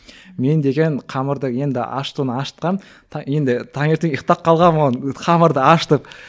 мен деген қамырды енді ашытуын ашытқанмын енді таңертең ұйқтап қалғанмын ол қамырды ашытып